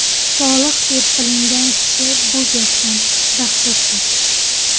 Solih deb bilingan kishi bu gapdan dahshatga tushdi.